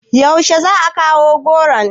Yaushe za a kawo goron?